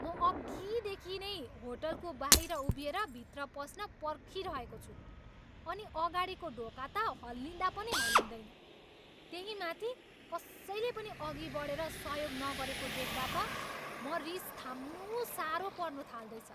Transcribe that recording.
म अघिदेखि नै होटलको बाहिर उभिएर भित्र पस्न पर्खिरहेको छु, अनि अगाडिको ढोका त हल्लिँदा पनि हल्लिँदैन। त्यही माथि कसैले पनि अघि बढेर सहयोग न गरेको देख्दा त म रिस थाम्नु साह्रो पर्नु थाल्दैछ।